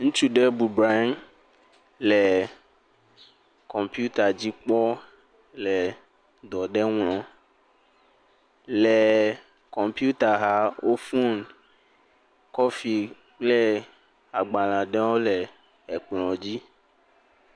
Ŋutsu ɖe bɔbɔ nɔ anyi le kɔmpita dzi kpɔm le dɔ aɖe ŋlɔm. Le kɔmpita xa, eƒe foni, kɔfi kple agbalẽ aɖewo le kplɔ̃ dzi.